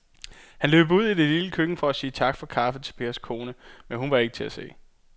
Han løb ud i det lille køkken for at sige tak for kaffe til Pers kone, men hun var ikke til at se.